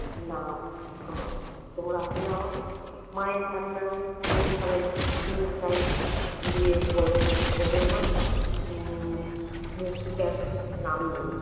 না আমার তোমরা আছো না আমার মায়ের কান্না তবু থামেনা অনু তাই ঘুরিয়ে বলে জানো মা হম মূর্তিতার নাম নেই।